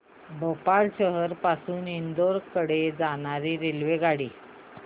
भोपाळ शहर पासून इंदूर कडे जाणारी रेल्वेगाडी